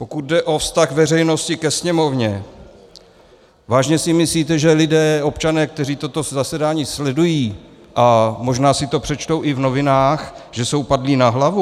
Pokud jde o vztah veřejnosti ke Sněmovně, váženě si myslíte, že lidé, občané, kteří toto zasedání sledují a možná si to přečtou i v novinách, že jsou padlí na hlavu?